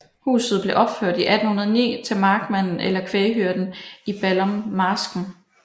Huset blev opført i 1809 til markmanden eller kvæghyrden i Ballummarsken